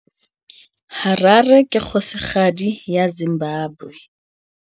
Harare ke kgosigadi ya Zimbabwe.